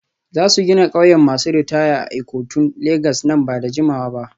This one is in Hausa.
Za su gina ƙauyen masu ritaya a Ikotun Legas nan ba da jimawa ba.